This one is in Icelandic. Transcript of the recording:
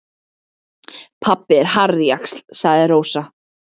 Pabbi er harðjaxl, sagði Rós.